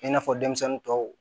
I n'a fɔ denmisɛnnin tɔw